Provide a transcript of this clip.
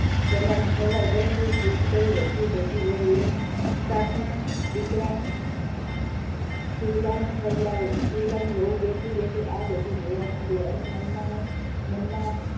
કરવાને ખવડાવે પરંતુ જે કઈ વધ્યું -ઘટ્યું હોય એ સાતમાં દીકરા શિવલાને ખવડાવે શિવલાની વહુ બેઠી બેઠી આ બધું જોયા કરે અને મનમાં ને મનમાં,